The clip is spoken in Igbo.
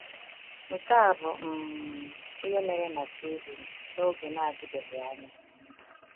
Nke a bụ um ihe mere na Sweden n’oge na-adịbeghị anya.